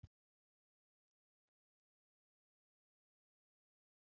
Slíkt ensím á sér hins vegar ekki hliðstæðu í frumum líkamans.